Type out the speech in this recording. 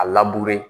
A labure